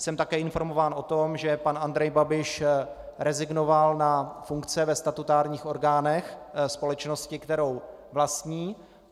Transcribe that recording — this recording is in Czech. Jsem také informován o tom, že pan Andrej Babiš rezignoval na funkce ve statutárních orgánech společnosti, kterou vlastní.